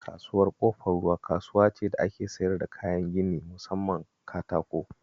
Kasuwar Ƙofar Ruwa kasuwa ce da ake siyar da kayan gini musamman katako